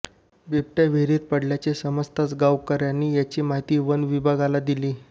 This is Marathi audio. बिबट्या विहिरीत पडल्याचे समजताच गावकऱ्यांनी याची माहिती वनविभागाला दिली